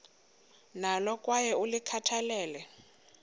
nalo kwaye ulikhathalele